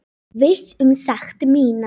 Viss um sekt mína.